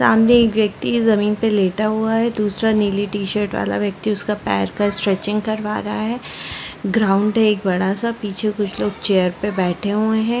सामने एक व्यक्ति जमीन पे लेटा हुआ है दूसरा नीली टी शर्ट वाला व्यक्ति उसका पैर का स्ट्रेचिंग करवा रहा है ग्राउंड है एक बड़ा सा पीछे कुछ लोग चेयर पे बैठे हुए है।